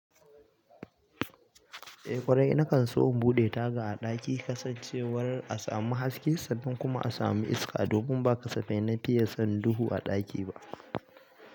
Eh kwarai, nakan so in buɗe taga a ɗaki kasancewar a samu haske sannan kuma a samu iska, domin ba kasafai na fiye son duhu a ɗaki ba.